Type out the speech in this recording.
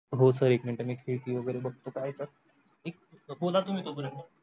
हो sir एक minute मी खिडकी वगेरे बगतो काय आहे? तर बोल तुम्ही तो पर्यन्त